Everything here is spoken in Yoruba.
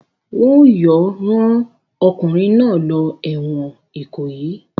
Wọn yóò rán ọkùnrin náà lọ ẹ̀wọ̀n Ìkòyí!